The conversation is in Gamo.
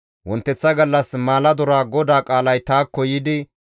Wonteththa gallas maaladora GODAA qaalay taakko yiidi,